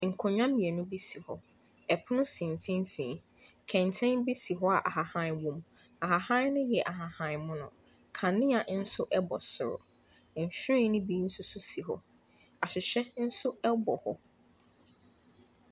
Nkonnwa mmienu si hɔ, pono si mfimfin, kɛntɛn bi si hɔ a ahahan wɔ mu. Ahahan ne yɛ ahahanmono, kanea nso bɔ soro. Nhyiren ne bi nso si hɔ, ahwehwɛ nso bɔ hɔ.